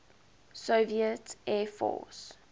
soviet air force